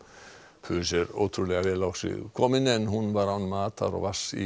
pus er ótrúlega vel á sig komin en hún var án matar og vatns í